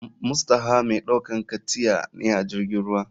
Mustaoha mai ɗaukan katya ne ajirgin ruwa.